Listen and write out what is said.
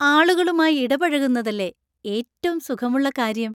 ആളുകളുമായി ഇടപഴകുന്നതല്ലേ ഏറ്റം സുഖമുള്ള കാര്യം?